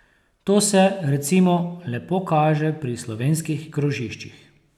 To se, recimo, lepo kaže pri slovenskih krožiščih.